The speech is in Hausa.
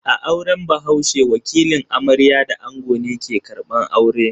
A auren bahaushe, wakilin amarya da ango ne ke karbar aure.